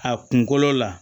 A kunkolo la